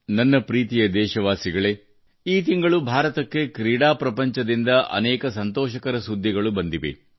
ನನ್ನ ಪ್ರೀತಿಯ ದೇಶವಾಸಿಗಳೇ ಈ ತಿಂಗಳು ಭಾರತಕ್ಕೆ ಕ್ರೀಡಾ ಪ್ರಪಂಚದಿಂದ ಅನೇಕ ಸಂತೋಷಕರ ಸುದ್ದಿಗಳು ಬಂದಿವೆ